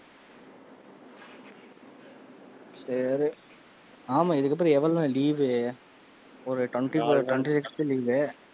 சரி ஆமா, இதுக்கு அப்பறம் எவ்ளோ நாள் leave ஒரு twenty four twenty sixth leave.